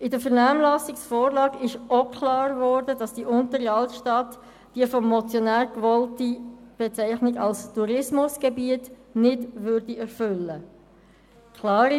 Die Vernehmlassungsvorlage zeigte auch klar, dass die Untere Altstadt die Anforderungen für die vom Motionär gewollte Bezeichnung als Tourismusgebiet nicht erfüllen würde.